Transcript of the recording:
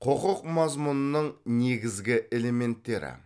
құқық мазмұнының негізгі элементтері